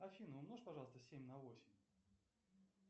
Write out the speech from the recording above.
афина умножь пожалуйста семь на восемь